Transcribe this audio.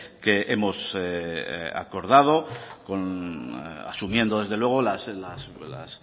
que hemos acordado asumiendo desde luego las